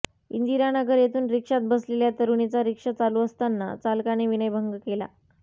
इंदिरानगर येथून रिक्षात बसलेल्या तरुणीचा रिक्षा चालू असताना चालकाने विनयभंग केला